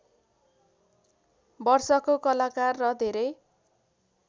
वर्षको कलाकार र धेरै